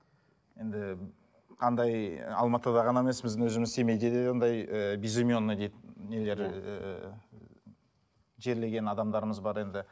енді андай алматыда ғана емес біздің өзіміз семейде де ондай ыыы безименный дейді нелер ыыы жерлеген адамдарымыз бар енді